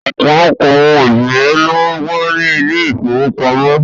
Ọ̀pọ̀lọpọ̀ àwọn òṣìṣẹ́ ló wà ní ilé ìfowópamọ́